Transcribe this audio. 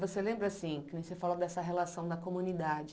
Você lembra, assim, que você falou dessa relação da comunidade.